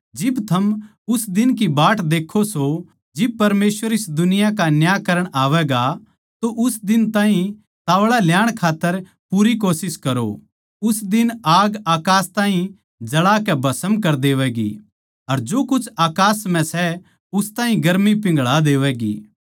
जिब थम उस दिन की बाट देक्खो सों जिब परमेसवर इस दुनिया का न्याय करण आवैगा तो उस दिन ताहीं ताव्ळा ल्याण खात्तर पूरी कोशिश करो उस दिन आग अकास ताहीं जळा कै भष्म कर देवैगी अर जो कुछ अकास म्ह सै उस ताहीं गर्मी पिंघळा देवैगी